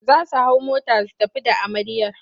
Za su hau mota su tafi da amarya.